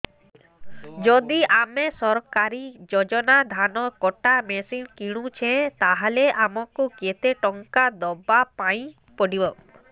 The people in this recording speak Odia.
ଯଦି ଆମେ ସରକାରୀ ଯୋଜନାରେ ଧାନ କଟା ମେସିନ୍ କିଣୁଛେ ତାହାଲେ ଆମକୁ କେତେ ଟଙ୍କା ଦବାପାଇଁ ପଡିବ